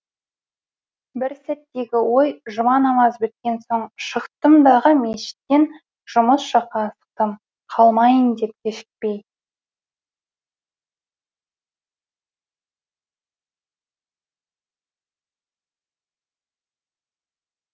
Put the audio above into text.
бір сәттегі ой жұма намаз біткен соң шықтым дағы мешіттен жұмыс жаққа асықтым қалмайын деп кешікпей